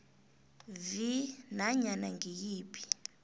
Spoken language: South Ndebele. vi nanyana ngiyiphi